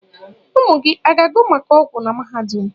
Ụmụ gị a ga-agụ maka ọgwụ na mahadum?